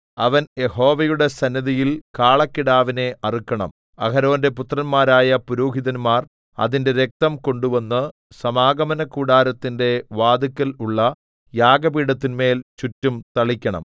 അവൻ യഹോവയുടെ സന്നിധിയിൽ കാളക്കിടാവിനെ അറുക്കണം അഹരോന്റെ പുത്രന്മാരായ പുരോഹിതന്മാർ അതിന്റെ രക്തം കൊണ്ടുവന്നു സമാഗമനകൂടാരത്തിന്റെ വാതിക്കൽ ഉള്ള യാഗപീഠത്തിന്മേൽ ചുറ്റും തളിക്കണം